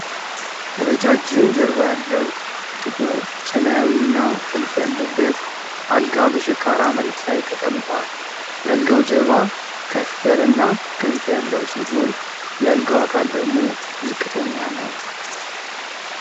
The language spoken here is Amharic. ረጃጅም ጀርባ ያለው ጥቁር ሰማያዊና ጥልፍ ያለበት አልጋ በሸካራ መሬት ላይ ተቀምጧል። የአልጋው ጀርባ ከፍ ያለና ክንፍ ያለው ሲሆን የአልጋው አካል ደግሞ ዝቅተኛ ነው።